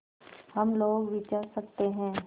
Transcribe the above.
हम लोग विचर सकते हैं